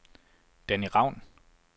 Danny Raun